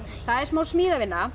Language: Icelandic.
það er smá